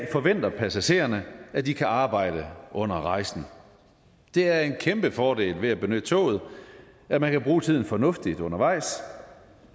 forventer passagererne i at de kan arbejde under rejsen det er en kæmpe fordel ved at benytte toget at man kan bruge tiden fornuftigt undervejs